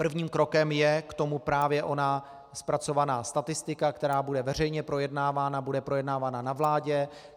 Prvním krokem k tomu je právě ona zpracovaná statistika, která bude veřejně projednávána, bude projednávána na vládě.